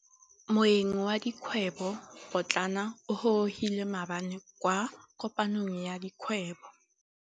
Moêng wa dikgwêbô pôtlana o gorogile maabane kwa kopanong ya dikgwêbô.